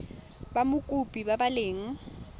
ba mokopi ba ba leng